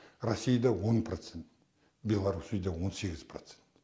россияда он процент белоруссияда он сегіз процент